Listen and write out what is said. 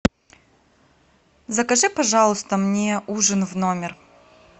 закажи пожалуйста мне ужин в номер